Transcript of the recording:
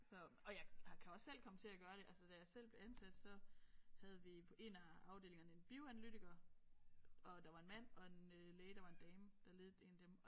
Så og jeg har kan også selv komme til at gøre det altså da jeg selv blev ansat så havde vi på en af afdelingerne en bioanalytiker og der var en mand og en læge der var en dame der ledede det dem